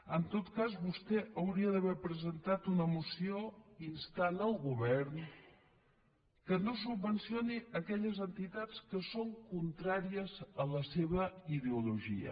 en tot cas vostè hauria d’haver presentat una moció instant el govern que no subvencioni aquelles entitats que són contràries a la seva ideologia